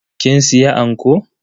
Kin siya anko?